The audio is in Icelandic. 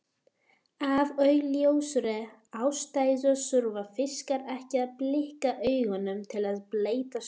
Af augljósri ástæðu þurfa fiskar ekki að blikka augunum til að bleyta þau.